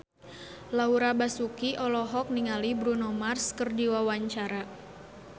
Laura Basuki olohok ningali Bruno Mars keur diwawancara